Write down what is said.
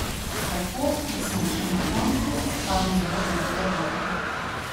Tako, da smo šli na koncu od tam zelo dobre volje.